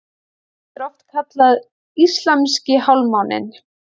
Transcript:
Þetta er oft kallað íslamski hálfmáninn.